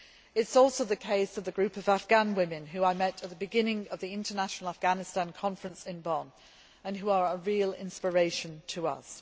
It is also the case of the group of Afghan women whom I met at the beginning of the International Afghanistan Conference in Bonn and who are a real inspiration to us.